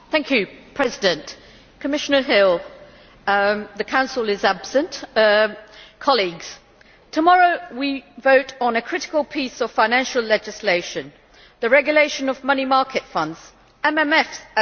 Madam President, Commissioner Hill the Council is absent colleagues, tomorrow we vote on a critical piece of financial legislation the regulation of money market funds This